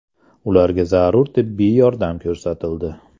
Ularga zarur tibbiy yordam ko‘rsatildi.